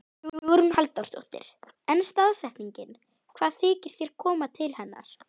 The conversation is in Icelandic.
Hugrún Halldórsdóttir: En staðsetningin, hvað þykir þér koma til hennar?